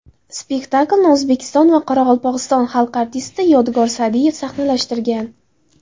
Spektaklni O‘zbekiston va Qoraqalpog‘iston xalq artisti Yodgor Sa’diyev sahnalashtirgan.